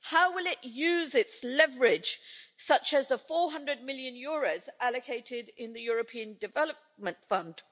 How will it use its leverage, such as the EUR 400 million allocated in the European Development Fund?